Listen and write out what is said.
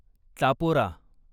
Chapora